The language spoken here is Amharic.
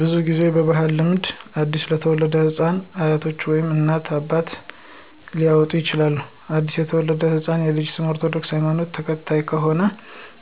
ብዙ ጊዜ በባህላዊ ልምድ አዲስ ለተወለደ ህፃን አያቶች ወይም እናት፣ አባት ሊያወጣ ይችላል። አዲስ የተወለደው ህፃን ልጅ የ ኦርቶዶክስ ሀይማኖት ተከታይ ከሆነም